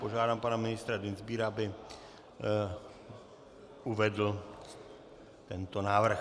Požádám pana ministra Dienstbiera, aby uvedl tento návrh.